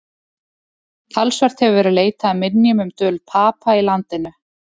Talsvert hefur verið leitað að minjum um dvöl Papa í landinu.